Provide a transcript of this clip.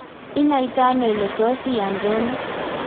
inaitano ile tos iyanRono?